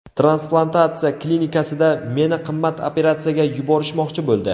Transplantatsiya klinikasida meni qimmat operatsiyaga yuborishmoqchi bo‘ldi.